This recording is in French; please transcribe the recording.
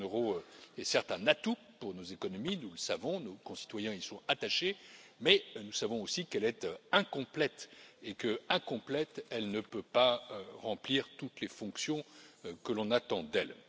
La zone euro est certes un atout pour nos économies, nous le savons, nos concitoyens y sont attachés, mais nous savons aussi qu'elle est incomplète et que, incomplète, elle ne peut pas remplir toutes les fonctions que l'on attend d'elle.